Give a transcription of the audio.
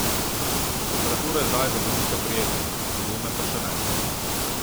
Temperatura je zdaj za voznika prijetna, za gume pa še ne.